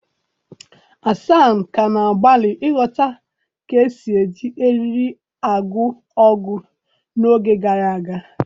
Hasan ka na-agbalị ịghọta ka esi eji eriri eriri agụ agụ n'oge gara aga.